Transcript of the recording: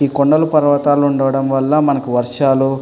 ఈ కొండలు పర్వతాలు ఉండడం వల్ల మనకు వర్షాలు --